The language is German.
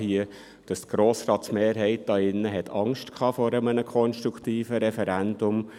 Die Grossratsmehrheit hier drin hatte Angst vor einem konstruktiven Referendum.